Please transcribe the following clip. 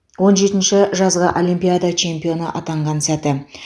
он жетінші жазғы олимпиада чемпионы атанған сәті